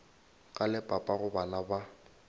ka le papago bana ba